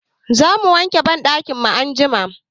Za mu wanke banɗakin mu anjima.